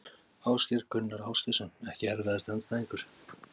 Ásgeir Gunnar Ásgeirsson EKKI erfiðasti andstæðingur?